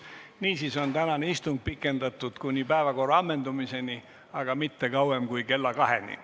Niisiis on tänast istungit pikendatud kuni päevakorra ammendumiseni, aga mitte kauem kui kella kaheni.